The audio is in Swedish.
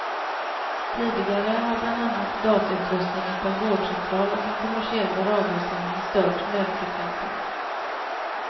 Tidigare har bland annat datautrustningen på en vårdcentral och en kommersiell radiosändning stört nödfrekvensen.